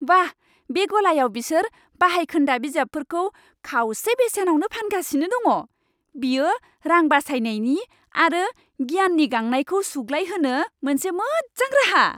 बाह! बे गलायाव बिसोर बाहायखोन्दा बिजाबफोरखौ खावसे बेसेनावनो फानगासिनो दङ। बेयो रां बासायनायनि आरो गियाननि गांनायखौ सुग्लायहोनो मोनसे मोजां राहा।